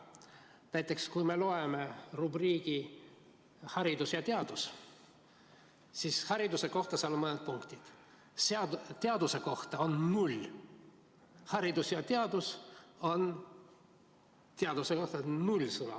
Näiteks kui me loeme rubriiki "Haridus ja teadus", siis hariduse kohta seal on mõned punktid, teaduse kohta on null sõna.